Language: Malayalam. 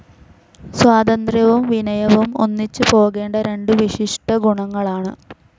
സ്വാതന്ത്ര്യവും വിനയവും ഒന്നിച്ചു പോകേണ്ട രണ്ടു വിശിഷ്ടഗുണങ്ങളാണ്.